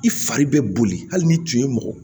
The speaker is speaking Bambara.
I fari bɛ boli hali n'i tun ye mɔgɔ